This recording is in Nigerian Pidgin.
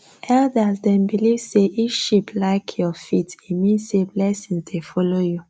elders dem believe say if sheep lik your feet e mean say blessings dey follow you